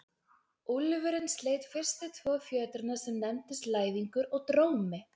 Úlfurinn sleit fyrstu tvo fjötrana sem nefndust Læðingur og Drómi.